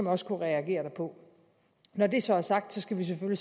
også kunne reagere derpå når det så er sagt skal vi